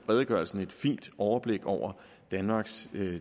redegørelsen et fint overblik over danmarks